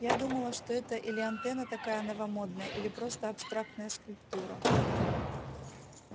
я думала что это или антенна такая новомодная или просто абстрактная скульптура